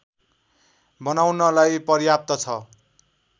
बनाउनलाई पर्याप्त छ